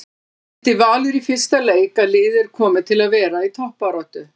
Sýndi Valur í fyrsta leik að liðið er komið til að vera í toppbaráttu?